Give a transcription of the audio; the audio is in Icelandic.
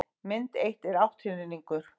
mynd eitt er átthyrningur